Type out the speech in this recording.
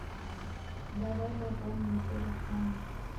давай пополним телефон